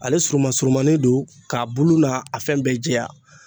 Ale surumani surumanin don k'a bulu n'a a fɛn bɛɛ jɛya.